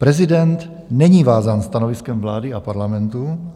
Prezident není vázán stanoviskem vlády a Parlamentu.